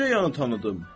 necə yanə tanıdım.